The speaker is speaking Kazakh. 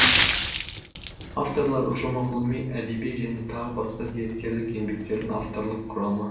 авторлар ұжымы ғылыми әдеби және тағы басқа зияткерлік еңбектердің авторлық құрамы